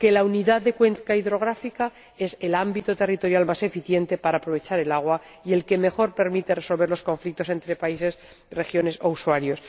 que la unidad de cuenca hidrográfica es el ámbito territorial más eficiente para aprovechar el agua y el que mejor permite resolver los conflictos entre países, regiones o usuarios